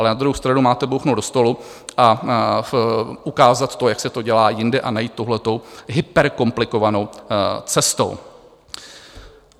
Ale na druhou stranu máte bouchnout do stolu a ukázat to, jak se to dělá jinde a ne jít touhle hyperkomplikovanou cestou.